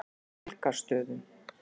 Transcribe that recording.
Helgastöðum